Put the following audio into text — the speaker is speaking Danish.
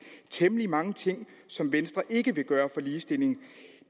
temmelig mange ting som venstre ikke vil gøre for ligestillingen